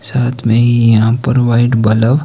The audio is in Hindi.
साथ में ही यहां पर व्हाइट बल्ब --